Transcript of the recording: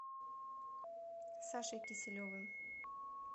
сашей киселевым